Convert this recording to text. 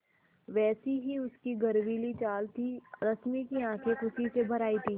वैसी ही उसकी गर्वीली चाल थी रश्मि की आँखें खुशी से भर आई थीं